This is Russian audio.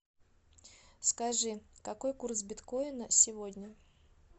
скажи какой курс биткоина сегодня